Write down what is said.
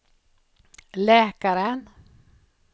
läkaren